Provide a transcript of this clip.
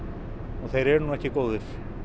og þeir er nú ekki góðir